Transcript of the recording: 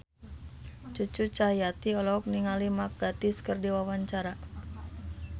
Cucu Cahyati olohok ningali Mark Gatiss keur diwawancara